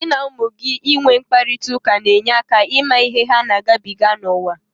Gị na ụmụ gị inwe mkparịtaụka ga-enyere gị aka ịmata ihe ha na-agabiga n'uwa.